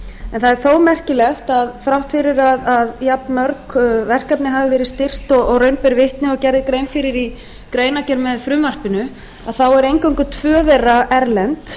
en það er þó merkilegt að þrátt fyrir að jafnmörg verkefni hafi verið styrkt og raun ber vitni og gerð er grein fyrir í greinargerð með frumvarpinu að þá eru eingöngu tvö þeirra erlend